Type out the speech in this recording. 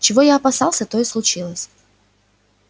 чего я опасался то и случилось